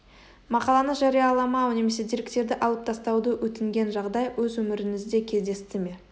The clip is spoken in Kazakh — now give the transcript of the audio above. мақаланы жарияламау немесе деректерді алып тастауды өтінген жағдай өз өміріңізде кездесті ме